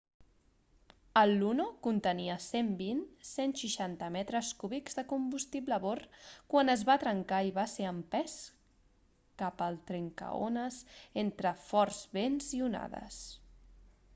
el luno contenia 120-160 metres cúbics de combustible a bord quan es va trencar i va ser empès cap al trencaones entre forts vents i onades